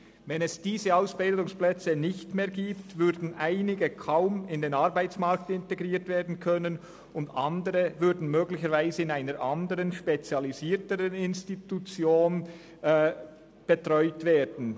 Wenn es diese Ausbildungsplätze nicht mehr gäbe, würden einige kaum in den Arbeitsmarkt integriert werden können, während andere möglicherweise in einer spezialisierteren Institution betreut würden.